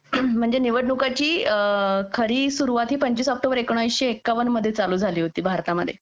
म्हणजे निवडणुकांची खरी सुरुवात ही पंचवीस ऑक्टोबर एकोणीसशे एकावन चालू झाली होती भारतामध्ये